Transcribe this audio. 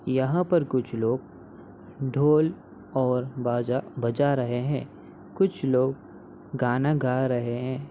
यहाँ पर कुछ लोग ढोल और बाजा बजा रहे है। कुछ लोग गाना गा रहे है।